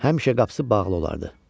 Həmişə qapısı bağlı olardı.